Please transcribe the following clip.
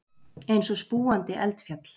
Eins og spúandi eldfjall.